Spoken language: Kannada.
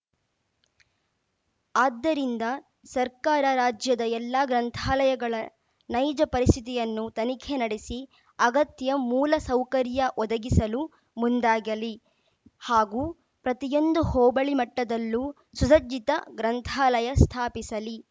ಆದ್ದರಿಂದ ಸರ್ಕಾರ ರಾಜ್ಯದ ಎಲ್ಲಾ ಗ್ರಂಥಾಲಯಗಳ ನೈಜ ಪರಿಸ್ಥಿತಿಯನ್ನು ತನಿಖೆ ನಡೆಸಿ ಅಗತ್ಯ ಮೂಲಸೌಕರ್ಯ ಒದಗಿಸಲು ಮುಂದಾಗಲಿ ಹಾಗೂ ಪ್ರತಿಯೊಂದು ಹೋಬಳಿ ಮಟ್ಟದಲ್ಲೂ ಸುಸಜ್ಜಿತ ಗ್ರಂಥಾಲಯ ಸ್ಥಾಪಿಸಲಿ